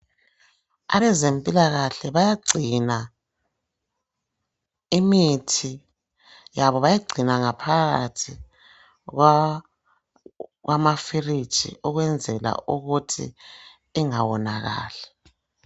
Abezempilakahle bayagcina imithi, bayagcina ngaphakathi kwamafiriji ukwenzela ukuthi ingawonakali.